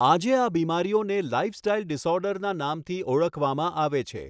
આજે આ બીમારીઓને લાઇફસ્ટાઇલ ડિસઑર્ડરના નામથી ઓળખવામાં આવે છે.